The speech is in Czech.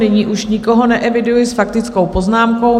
Nyní už nikoho neeviduji s faktickou poznámkou.